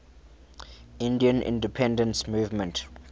indian independence movement